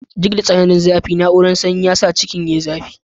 Duk da tsananin zafi, tsarin na'urar sanyi ya sa cikin yayi sanyi.